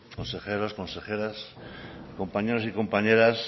consejeros consejeras compañeros y compañeras